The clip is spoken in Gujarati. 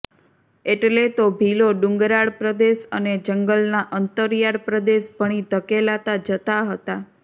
એટલે તો ભીલો ડુંગરાળ પ્રદેશ અને જંગલના અંતરિયાળ પ્રદેશ ભણી ધકેલાતા જતા હતા